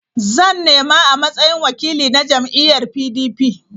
Zan nema a matsayin wakili na jam'iyyar PDP.